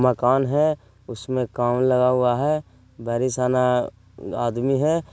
मकान है उसमें काम लगा हुआ है बैरिसाना आदमी है।